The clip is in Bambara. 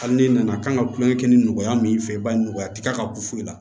Hali n'i nana kan ka tulonkɛ kɛ ni nɔgɔya min fɛ i b'a ye nɔgɔya ti ka bɔ foyi la